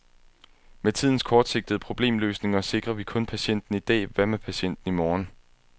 Med tidens kortsigtede problemløsninger sikrer vi kun patienten i dag, hvad med patienten i morgen.